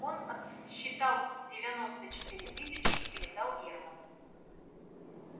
он отсчитал девяносто четыре тысячи и передал германну